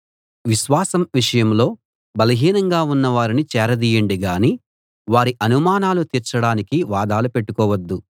విశ్వాసం విషయంలో బలహీనంగా ఉన్న వారిని చేరదీయండి గానీ వారి అనుమానాలు తీర్చడానికి వాదాలు పెట్టుకోవద్దు